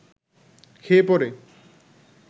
খেয়ে-পরে